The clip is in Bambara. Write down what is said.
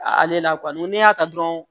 Ale la n'i y'a ta dɔrɔn